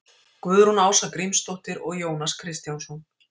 guðrún ása grímsdóttir og jónas kristjánsson